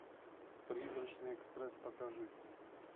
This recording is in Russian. призрачный экспресс покажи